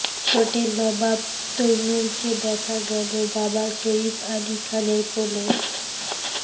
ছোটে নবাব তৈমুরকে দেখা গেল বাবা সইফ আলি খানের কোলে